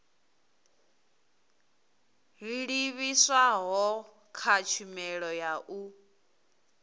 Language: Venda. livhiswaho kha tshumelo ya u